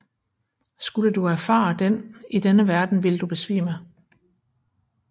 Skulle du erfare den i denne verden ville du besvime